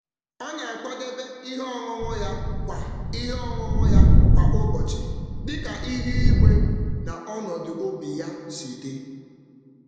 Ọ na-akwadebe ihe ọṅụṅụ ya kwa ụbọchị dịka ihu ihu igwe na ọnọdụ obi ya si dị.